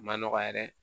Ma nɔgɔ yɛrɛ